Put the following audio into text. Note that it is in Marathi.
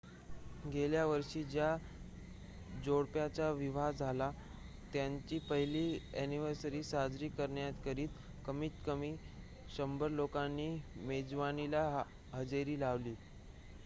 गेल्या वर्षी ज्या जोडप्याचा विवाह झाला त्यांची पहिली अ‍ॅनिव्हर्सरी साजरी करण्याकरिता कमीत कमी 100 लोकांनी मेजवानीला हजेरी लावली